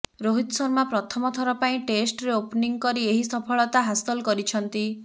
ରୋହିତ ଶର୍ମା ପ୍ରଥମଥର ପାଇଁ ଟେଷ୍ଟରେ ଓପନିଂ କରି ଏହି ସଫଳତା ହାସଲ କରିଛନ୍ତି